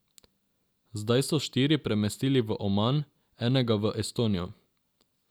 Zdaj so štiri premestili v Oman, enega v Estonijo.